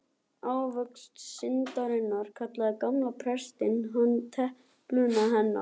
Ávöxt syndarinnar, kallaði gamli presturinn hana, telpuna hennar.